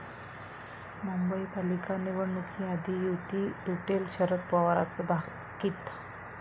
मुंबई पालिका निवडणुकीआधी युती तुटेल, शरद पवारांचं भाकीत